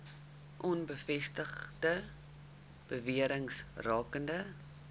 onbevestigde bewerings rakende